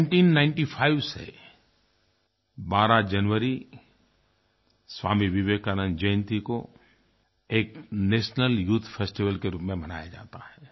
1995 से 12 जनवरी स्वामी विवेकानंद जयंती को एक नेशनल यूथ फेस्टिवल के रूप में मनाया जाता है